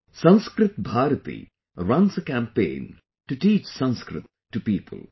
'Sanskrit Bharti' runs a campaign to teach Sanskrit to people